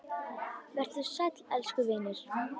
Vertu sæll, elsku vinur.